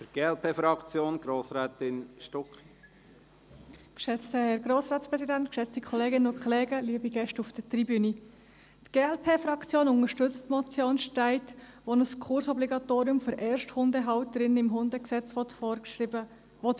Die glp-Fraktion unterstützt die Motion Streit-Stettler, die ein Kursobligatorium für Ersthundehalterinnen und -halter im Hundegesetz vorschreiben will.